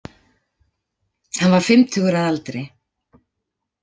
Hann var fimmtugur að aldri